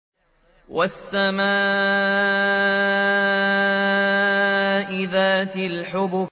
وَالسَّمَاءِ ذَاتِ الْحُبُكِ